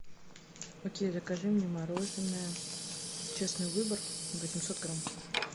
окей закажи мне мороженое честный выбор восемьсот грамм